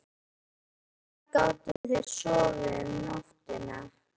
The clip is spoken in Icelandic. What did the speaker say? En hvar gátu þeir sofið um nóttina?